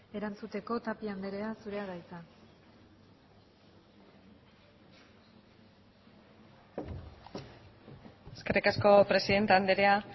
erantzuteko tapia andrea zurea da hitza eskerrik asko presidente andrea